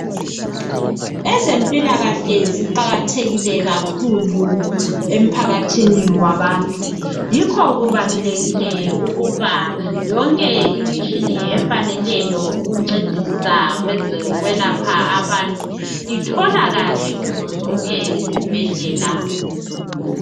Ezempilakahle ziqakathekile kakhulu emphakathini wabantu. Yikho kubalulekile, ukuba yonke imitshini efaneleyo ukuncedisa kwezokwelapha abantu itholakale kuzo zonke. izibhedlela.